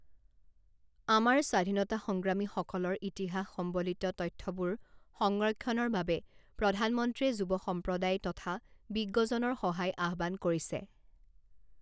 আমাৰ স্বাধীনতা সংগ্ৰামীসকলৰ ইতিহাস সম্বলিত তথ্যবোৰ সংৰক্ষণৰ বাবে প্ৰধানমন্ত্ৰীয়ে যুৱ সম্প্ৰদায় তথা বিজ্ঞজনৰ সহায় আহ্বান কৰিছে।